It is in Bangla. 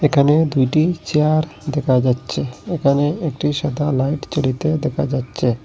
এখানে দুইটি চেয়ার দেখা যাচ্ছে এখানে একটি সাদা লাইট জ্বলিতে দেখা যাচ্ছে।